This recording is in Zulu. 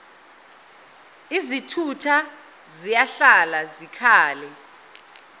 izithutha ziyahlala zikhale